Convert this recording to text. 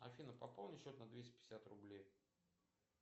афина пополни счет на двести пятьдесят рублей